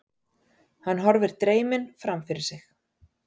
Hann horfir dreyminn framfyrir sig.